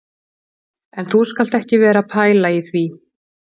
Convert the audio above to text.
En þú skalt ekki vera að pæla í því